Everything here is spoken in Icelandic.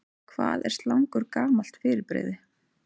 Hvað er slangur gamalt fyrirbrigði?